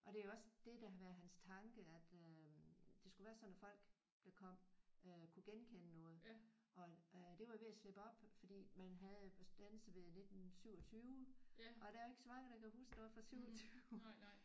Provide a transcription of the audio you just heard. Og det er også dét der har været hans tanke at øh det skulle være sådan at folk der kom øh kunne genkende noget og øh det var jo ved at slippe op fordi man havde standset ved 1927 og der er ikke så mange der kan huske noget fra 27